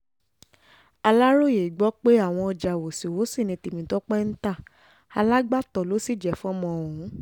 aláròye gbọ́ pé àwọn ọjà wọ́sí-wọ́sí ni tèmítọ́pẹ́ ń ta alágbàtọ́ ló sì jẹ́ fọ́mọ ọ̀hún